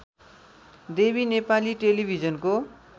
देवी नेपाली टेलिभिजनको